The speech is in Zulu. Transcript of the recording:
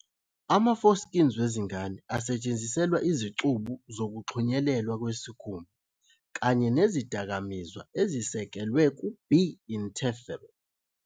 Ama-Foreskins wezingane asetshenziselwa izicubu zokuxhunyelelwa kwesikhumba kanye nezidakamizwa ezisekelwe ku- β-interferon.